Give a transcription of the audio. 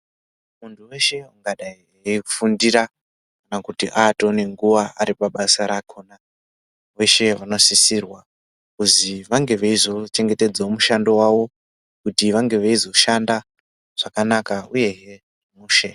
Mundu weshe ungadai eyifundira kana kuti atoone nguwa ari pabasa rakona veshee vanosisirwa kuzi vange veyizochengetedze mushando wacho kuti vange veyizoshanda zvakanaka uye hee mushe.